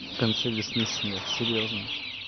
в конце весны снег серьёзно